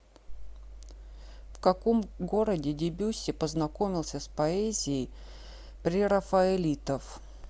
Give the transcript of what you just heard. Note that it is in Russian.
в каком городе дебюсси познакомился с поэзией прерафаэлитов